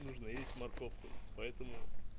нужно есть морковку поэтому